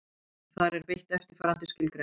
Þar er beitt eftirfarandi skilgreiningu: